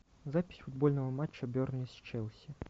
запись футбольного матча бернли с челси